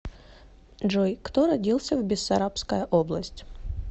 джой кто родился в бессарабская область